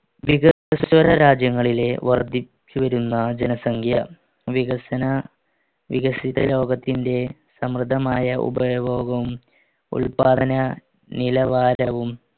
രാജ്യങ്ങളിലെ വർധിച്ചുവരുന്ന ജനസംഖ്യ വികസന വികസിത രോഗത്തിന്റെ സമൃദ്ധമായ ഉപയോഗം ഉൽപാദന നിലവാരവും